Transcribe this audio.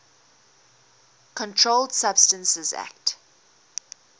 controlled substances acte